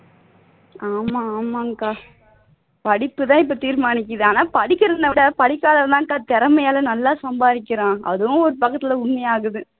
ஆமா ஆமாங்க்கா படிப்பு தான் இப்ப தீர்மானிக்குது ஆனா படிக்கிறவனை விட படிக்காதவன் தான் அக்கா திறமையால நல்லா சம்பாதிக்கிறான் அதுவும் ஒரு பக்கத்தில் உண்மையாகுது